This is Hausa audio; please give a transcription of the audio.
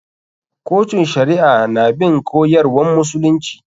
Kotun shari'a na bin koyarwan musulunci.